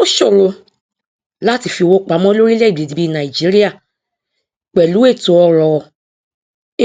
ó ṣòro láti fi owó pamọ lórílẹèdè bí nàìjíríà pẹlú ètòọrọ